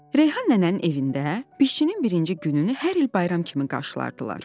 Reyhan nənənin evində biçinin birinci gününü hər il bayram kimi qarşılayırdılar.